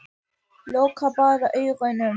Loka bara augunum.